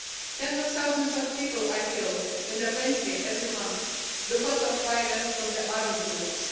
Tens of thousands of people are killed in the country every month because of violence from the armed groups.